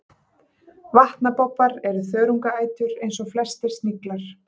vatnabobbar er þörungaætur eins og flestir sniglar